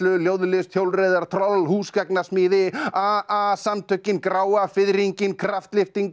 ljóðlist hjólreiðar troll húsgagnasmíði a a samtökin gráa fiðringinn kraftlyftingar